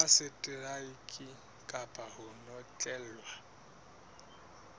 ya seteraeke kapa ho notlellwa